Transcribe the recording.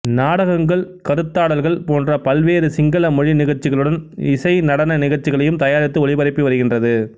நாடகங்கள் கருத்தாடல்கள் போன்ற பல்வேறு சிங்கள மொழி நிகழ்ச்சிகளுடன் இசை நடன நிகழச்சிகளையும் தயாரித்து ஒளிபரப்பி வருகின்றது